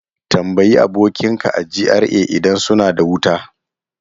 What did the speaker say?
Tambayi abokinka a GRA idan suna da wuta!